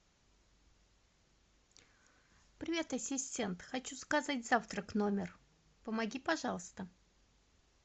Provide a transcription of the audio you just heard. привет ассистент хочу заказать завтрак в номер помоги пожалуйста